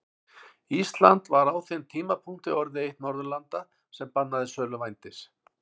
Ísland var á þeim tímapunkti orðið eitt Norðurlanda sem bannaði sölu vændis.